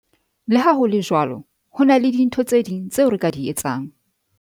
Le ha ho le jwalo, ho na le dintho tse ding tseo re ka di etsang.